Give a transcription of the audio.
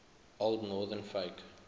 old northern folk